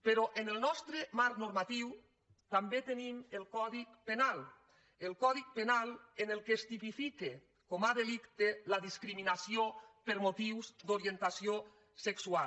però en el nostre marc normatiu també tenim el codi penal el codi penal en què es tipifica com a delicte la discriminació per motius d’orientació sexual